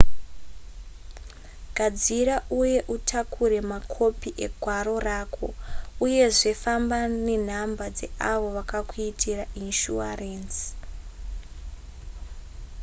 gadzira uye utakure makopi egwaro rako uyezve famba nenhamba dzeavo vakakuitira inishuwarenzi